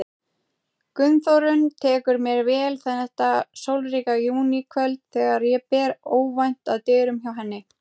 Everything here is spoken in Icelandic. Gunnþórunn tekur mér vel þetta sólríka júníkvöld þegar ég ber óvænt að dyrum hjá henni.